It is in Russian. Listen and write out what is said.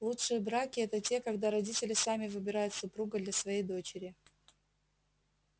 лучшие браки это те когда родители сами выбирают супруга для своей дочери